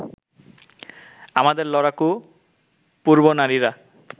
আমাদের লড়াকু পূর্বনারীরা